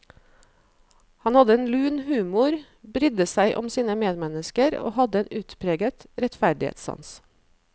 Han hadde en lun humor, brydde seg om sine medmennesker og hadde en utpreget rettferdighetssans.